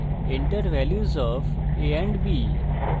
enter values of a and b